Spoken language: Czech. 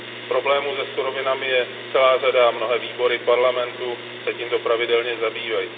Problémů se surovinami je celá řada a mnohé výbory Parlamentu se tímto pravidelně zabývají.